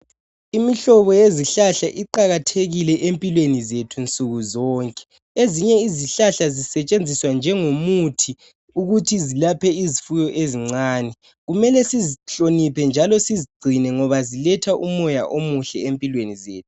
Imihlobo yezihlahla iqakathekile empilweni zethu nsukuzonke. Ezinye izihlahla zisetshenziswa njengomuthi ukuthi zilaphe izifuyo ezincane. Kumele sizihloniphe njalo sizigcine ngoba ziletha umoya omuhle empilweni zethu